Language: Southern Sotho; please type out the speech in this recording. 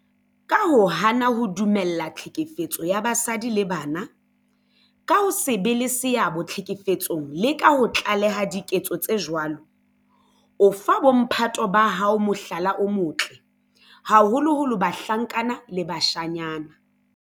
Ka ho hana ho dumella tlhekefetso ya basadi le bana, ka ho se be le seabo tlhekefetsong le ka ho tlaleha diketso tse jwalo, o fa bo mphato ba hao mohlala o motle, haholoholo bahlankana le bashanyana.